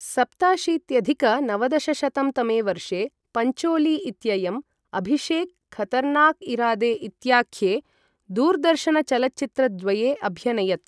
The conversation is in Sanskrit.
सप्ताशीत्यधिक नवदशशतं तमे वर्षे पञ्चोली इत्ययम् अभिषेक, खतरनाक इरादे इत्याख्ये दूरदर्शनचलच्चित्रद्वये अभ्यनयत्।